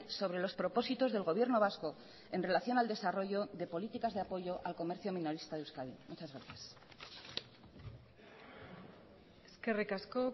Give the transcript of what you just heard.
sobre los propósitos del gobierno vasco en relación al desarrollo de políticas de apoyo al comercio minorista de euskadi muchas gracias eskerrik asko